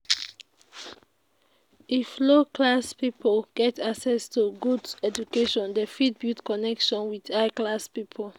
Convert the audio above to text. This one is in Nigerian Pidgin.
if low class pipo get access to good education dem fit build connection with high class pipo